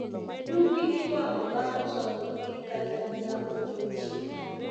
Yugi iwang'o bang' choko gi kanyakla odiechieng'